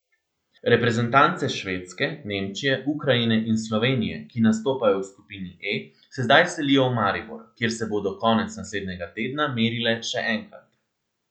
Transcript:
Reprezentance Švedske, Nemčije, Ukrajine in Slovenije, ki nastopajo v skupini E, se zdaj selijo v Maribor, kjer se bodo konec naslednjega tedna merile še enkrat.